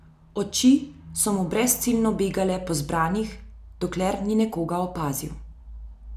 Oči so mu brezciljno begale po zbranih, dokler ni nekoga opazil.